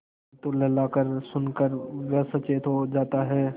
परन्तु ललकार सुन कर वह सचेत हो जाता है